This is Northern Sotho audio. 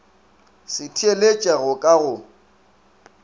se theeletše go ka go